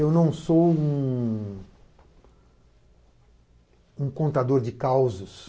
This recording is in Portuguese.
Eu não sou um contador de causos.